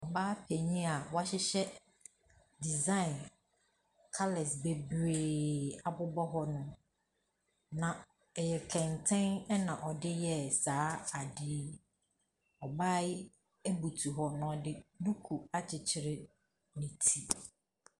Ɔbaa panin a wahyehyɛ design colours bebree abobɔ hɔnom, na ɛyɛ kɛntɛn na ɔde yɛɛ saa adeɛ. Ɔbaa yi butu hɔ na ɔde duku akyekyere ne ti.